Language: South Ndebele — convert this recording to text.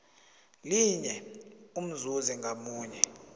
linye umzuzi ngamunye